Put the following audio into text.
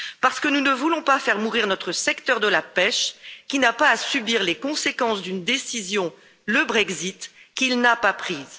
Parce que nous ne voulons pas faire mourir notre secteur de la pêche, qui n'a pas à subir les conséquences d'une décision, le Brexit, qu'il n'a pas prise.